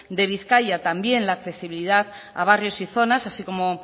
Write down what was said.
de bizkaia también la accesibilidad a barrios y zonas así como